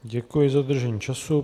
Děkuji za dodržení času.